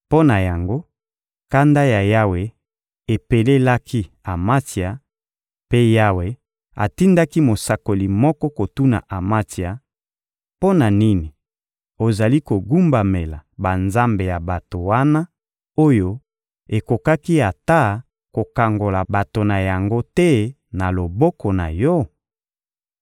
Mpo na yango, kanda ya Yawe epelelaki Amatsia; mpe Yawe atindaki mosakoli moko kotuna Amatsia: — Mpo na nini ozali kogumbamela banzambe ya bato wana oyo ekokaki ata kokangola bato na yango te na loboko na yo?